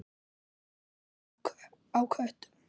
Hún hafði dálæti á köttum.